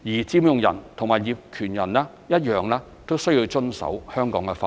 佔用人及業權人均須遵守香港法律。